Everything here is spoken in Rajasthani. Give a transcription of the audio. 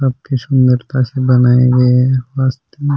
सबसे सुन्दर नकासी बनाइ है --